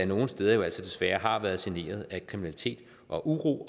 nogle steder desværre har været generet af kriminalitet og uro